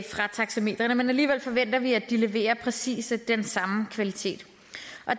taxameteret men alligevel forventer vi at de leverer præcis den samme kvalitet